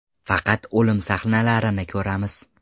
Faqat o‘lim sahnalarini ko‘ramiz.